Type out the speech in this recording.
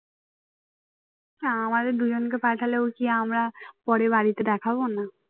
না আমাদের দুজনকে পাঠালেও কি আমরা পরে বাড়িতে দেখাবো না